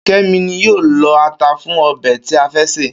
Ké̩mi ni yóò lo̩ ata fún o̩bè̩ tí a fé̩ sè